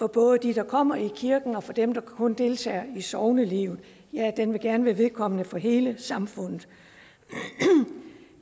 både dem der kommer i kirken og for dem der kun deltager i sognelivet ja den vil gerne være vedkommende for hele samfundet